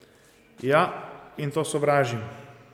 Ja, in to sovražim.